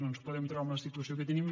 no ens podem trobar en la situació que tenim